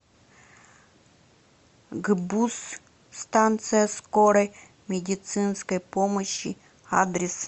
гбуз станция скорой медицинской помощи адрес